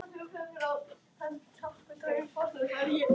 Ég kem.